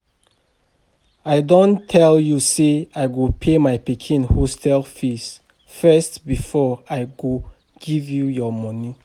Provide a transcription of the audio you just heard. I don tell you say I go pay my pikin hostel fees first before I go give you your money